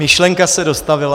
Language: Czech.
Myšlenka se dostavila.